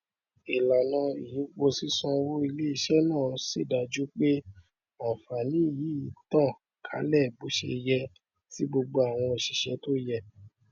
ìlànà ìyípo sísanwó iléiṣẹ náà ṣèdájú pé ànfààní yìí ń tàn kálẹ bóṣeyẹ sí gbogbo àwọn oṣiṣẹ tó yẹ